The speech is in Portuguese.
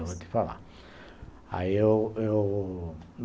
Eu vou te falar. Aí eu eu